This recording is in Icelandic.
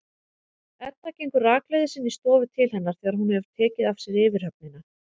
Edda gengur rakleiðis inn í stofu til hennar þegar hún hefur tekið af sér yfirhöfnina.